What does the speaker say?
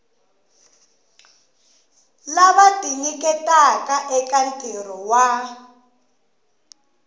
lava tinyiketaka eka ntirho wa